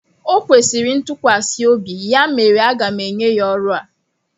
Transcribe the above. O kwesịrị ntukwasiobi ya mere aga m enye ya ọrụ a.